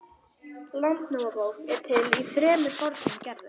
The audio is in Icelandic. Landnámabók er til í þremur fornum gerðum.